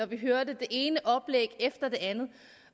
vi hørte det ene oplæg efter det andet